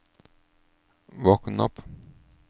våkn opp